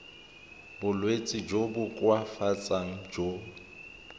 bolwetsi jo bo koafatsang jo